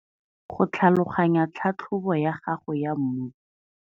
Go tlhaloganya tlhatlhobo ya gago ya mmu.